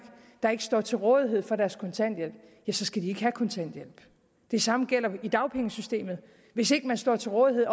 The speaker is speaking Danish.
der ikke står til rådighed for deres kontanthjælp så skal de ikke have kontanthjælp det samme gælder i dagpengesystemet hvis ikke man står til rådighed